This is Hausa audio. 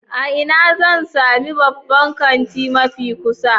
A ina zan sami babban kanti mafi kusa?